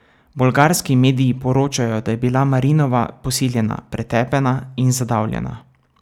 Bolgarski mediji poročajo, da je bila Marinova posiljena, pretepena in zadavljena.